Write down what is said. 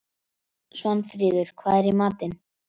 Svanfríður, hvað er í matinn?